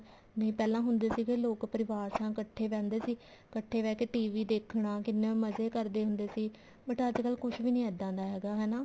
ਨਹੀਂ ਪਹਿਲਾਂ ਹੁੰਦੇ ਸੀ ਲੋਕ ਪਰਿਵਾਰ ਨਾਲ ਇੱਕਠੇ ਬਹਿੰਦੇ ਸੀ ਕੱਠੇ ਬਹਿ ਕੇ TV ਦੇਖਣਾ ਤੇ ਕਿੰਨੇ ਮਜ਼ੇ ਕਰਦੇ ਹੁੰਦੇ ਸੀ but ਅੱਜਕਲ ਕੁੱਝ ਵੀ ਨੀ ਇੱਦਾਂ ਦਾ ਹੈਗਾ ਹਨਾ